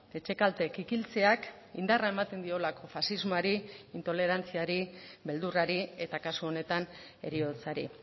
etxekalte kikiltzeak indarra ematen diolako faxismoari intolerantziari beldurrari eta kasu honetan heriotzari